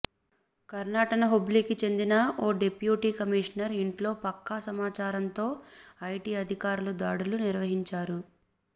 కర్ణాటన హుబ్లీ కి చెందిన ఓ డిప్యూటీ కమిషనర్ ఇంట్లో పక్కా సమాచారంతో ఐటి అధికారులు దాడులు నిర్వహించారు